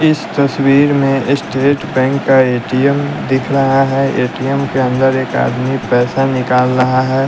इस तस्वीर में स्टेट बैंक का ए_टी_एम दिख रहा है ए_टी_एम के अंदर एक आदमी पैसा निकाल रहा है।